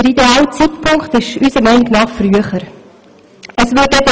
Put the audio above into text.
Der ideale Zeitpunkt müsste unseres Erachtens früher sein.